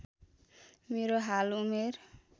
मेरो हाल उमेर